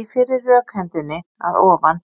Í fyrri rökhendunni að ofan